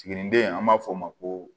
Tiginiden an b'a fɔ o ma ko